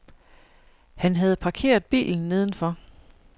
Han havde parkeret bilen nedenfor.